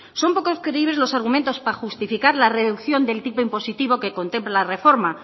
son poco creíbles los argumentos para justificar la reducción del tipo impositivo que contempla la reforma